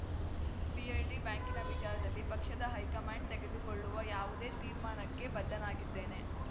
PLD ಬ್ಯಾಂಕಿನ ವಿಚಾರದಲ್ಲಿ ಪಕ್ಷದ ಹೈಕಮಾಂಡ್‌ ತೆಗೆದುಕೊಳ್ಳುವ ಯಾವುದೇ ತೀರ್ಮಾನಕ್ಕೆ ಬದ್ಧನಾಗಿದ್ದೇನೆ